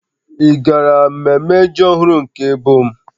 Ị gara mmemme ji ọhụrụ nke ebo m?